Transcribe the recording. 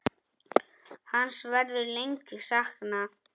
Hans verður lengi saknað.